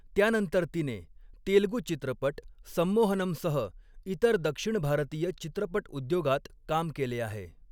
त्यानंतर तिने तेलगू चित्रपट 'संमोहनम'सह इतर दक्षिण भारतीय चित्रपटउद्योगात काम केले आहे.